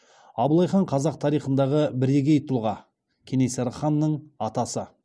абылай хан қазақ тарихындағы бірегей тұлға кенесары ханның атасы